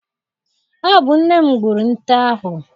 Ọ bụ nne m gbụrụ nte ahụ.